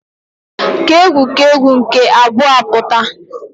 K'egwu k'egwu nke abụọ apụta.